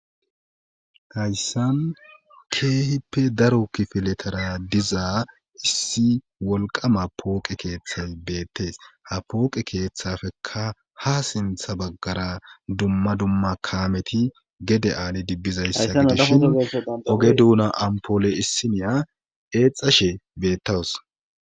hayssan keehippe daro kifiletara dizaa issi wolqama pooqe keeththay beettees ha pooqe keeththafeka ha sintha baggara dumma dumma kaameti gede aali dibbizayssa ishin oge duuna ampoole issiniya eexashe beettawus